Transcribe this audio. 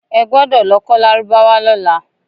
E gbọdọ̀ lọ kọ́ lárúbáwá lọ́la!